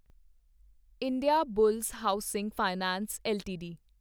Indiabulls housing finance LTD